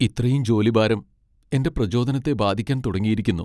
ഇത്രയും ജോലിഭാരം എന്റെ പ്രചോദനത്തെ ബാധിക്കാൻ തുടങ്ങിയിരിക്കുന്നു.